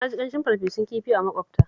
Na ji ƙamshin farfesun kifi a maƙwabta